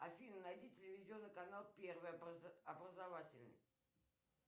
афина найди телевизионный канал первый образовательный